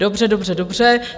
Dobře, dobře, dobře.